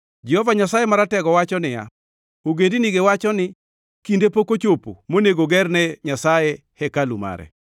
Jehova Nyasaye Maratego wacho niya, “Ogendinigi wacho ni, ‘Kinde pok ochopo monego gerne Nyasaye hekalu mare.’ ”